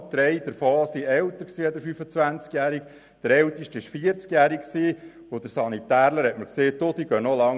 Drei davon waren älter als 25 Jahre, der älteste war vierzig Jahre alt, und der Sanitär sagte zu mir: «Diese Boiler funktionieren noch lange.